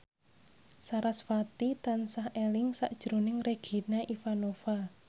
sarasvati tansah eling sakjroning Regina Ivanova